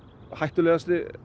hættulegasti